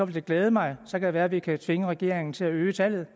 det glæde mig så kan det være vi kan tvinge regeringen til at øge tallet